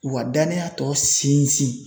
U ka danniya tɔ sinsin